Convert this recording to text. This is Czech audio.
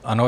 Ano.